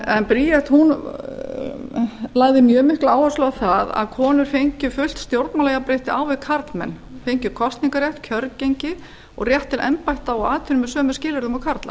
en bríet lagði mjög mikla áherslu á það að konur fengju fullt stjórnmálajafnrétti á við karlmenn fengju kosningarrétt kjörgengi og rétt til embætta og atvinnu með sömu skilyrðum og karlar